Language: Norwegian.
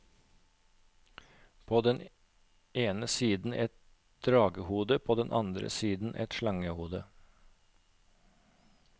På den ene siden et dragehode og på den andre siden et slangehode.